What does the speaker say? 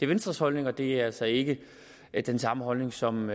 venstres holdning og det er altså ikke den samme holdning som